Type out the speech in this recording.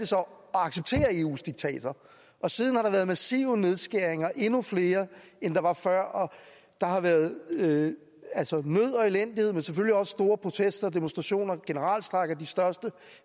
acceptere eus diktater og siden har der været massive nedskæringer endnu flere end der var før og der har været nød og elendighed men selvfølgelig også store protester og demonstrationer generalstrejker de største